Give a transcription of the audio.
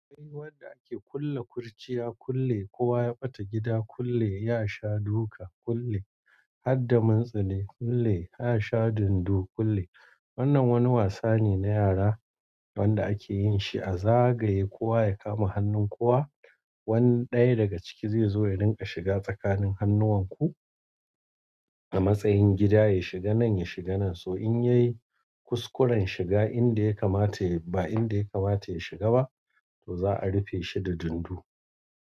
Ai wanda ake kulle kurciya kulle, kowa ya ɓata gida kulle, ya sha duka kulle, har da matsale kulle, ya sha dundu, kulle. Wannan wani wasa ne na yara wanda ake yin shi a zagaye kowa ya kama hannun kowa. Wani ɗaya daga ciki zai zo ya ringa shiga tsakanin hannuwan ku a matsayin gida, ya shiga nan, ya shiga nan, so in yayi kuskuren shiga inda ya kamata, ba inda ya kamata ya shiga ba to za a rufe shi da dundu.